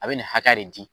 A bɛ nin hakɛ de di